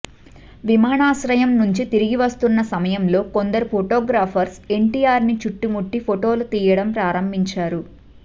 విమానాశ్రయం నుంచి తిరిగి వస్తున్న సమయంలో కొందరు ఫోటోగ్రాఫర్స్ ఎన్టీఆర్ ని చుట్టుముట్టి ఫోటోలు తీయడం ప్రారంభించారు